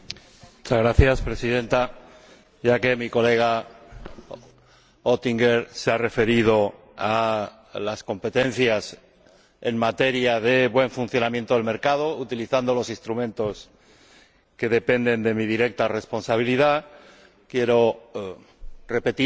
Presidenta, ya que mi colega Oettinger se ha referido a las competencias en materia de buen funcionamiento del mercado, por medio de los instrumentos que dependen de mi responsabilidad directa, quiero repetir aquí, ante